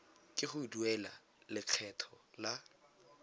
ke go duela lekgetho la